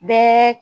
Bɛɛ